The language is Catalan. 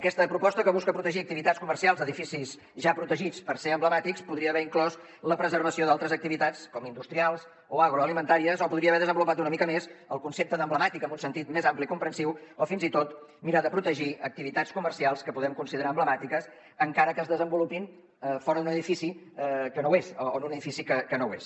aquesta proposta que busca protegir activitats comercials d’edificis ja protegits pel fet de ser emblemàtics podria haver inclòs la preservació d’altres activitats com industrials o agroalimentàries o podria haver desenvolupat una mica més el concepte de emblemàtic en un sentit més ampli i comprensiu o fins i tot mirar de protegir activitats comercials que podem considerar emblemàtiques encara que es desenvolupin fora d’un edifici que no ho és o en un edifici que no ho és